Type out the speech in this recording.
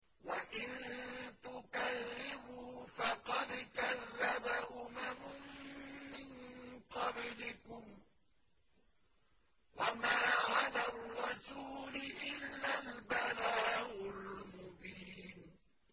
وَإِن تُكَذِّبُوا فَقَدْ كَذَّبَ أُمَمٌ مِّن قَبْلِكُمْ ۖ وَمَا عَلَى الرَّسُولِ إِلَّا الْبَلَاغُ الْمُبِينُ